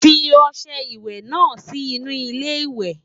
fí ọsẹ ìwé nà Si inú ilé ìwé